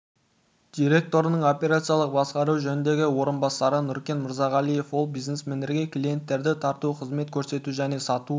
директорының операциялық басқару жөніндегі орынбасары нүркен мырзағалиев ол бизнесмендерге клиенттерді тарту қызмет көрсету және сату